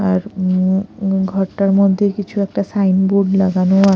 আর উম উম ঘরটার মধ্যে কিছু একটা সাইনবোর্ড লাগানো--